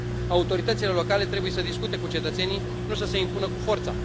Autoritățile locale trebuie să discute cu cetățenii, nu să se impună cu forța.